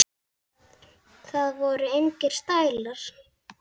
Það voru engir stælar.